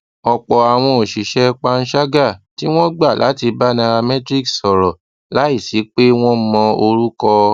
òpò àwọn òṣìṣé panṣágà tí wón gbà láti bá nairametrics sòrò láìsí pé wón mọ orúkọ